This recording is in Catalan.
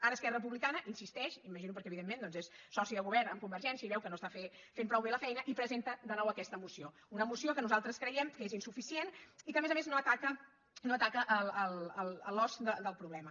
ara esquerra republicana hi insisteix m’imagino que perquè evidentment doncs és soci de govern amb convergència i veu que no s’està fent prou bé la feina i presenta de nou aquesta moció una moció que nos·altres creiem que és insuficient i que a més a més no ataca l’os del problema